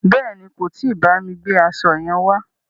Bèéni, kò tí bámi gbe aṣo yẹn wá.